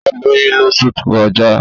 Ó lóyún lóṣù tó kọjá